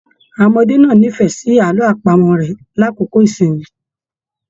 Àwọn ọmọdé náà n'ifẹ sí àlọ àpamọ̀ rẹ l'akoko ìsinmi.